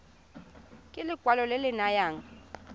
ke lekwalo le le nayang